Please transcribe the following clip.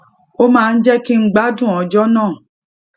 ó máa ń jé kí n gbádùn ọjó náà